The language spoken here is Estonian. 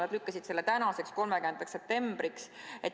Nad lükkasid selle tänaseks, 30. septembriks.